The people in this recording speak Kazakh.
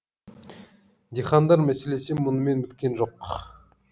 дихандар мәселесі мұнымен біткен жоқ